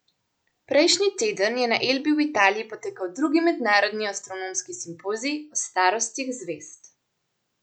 Prejšnji teden je na Elbi v Italiji potekal drugi mednarodni astronomski simpozij o starostih zvezd.